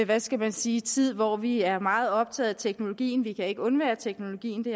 hvad skal man sige tid hvor vi er meget optaget af teknologien vi kan ikke undvære teknologien det